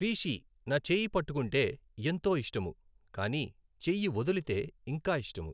ఫీషి నా చేయీ పట్టుకుంటే ఎంతో ఇస్టము కానీ చెయ్యీ వదులుతె ఇంకా ఇస్టము